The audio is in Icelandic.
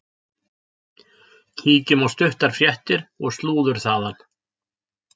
Kíkjum á stuttar fréttir og slúður þaðan.